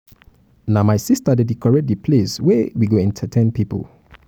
na my sista dey decorate di place where we go entertain pipo.